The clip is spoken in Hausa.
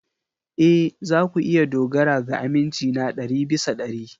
Ee, za ku iya dogara ga aminci na ɗari bisa ɗari.